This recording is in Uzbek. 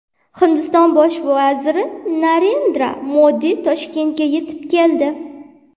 Hindiston bosh vaziri Narendra Modi Toshkentga yetib keldi.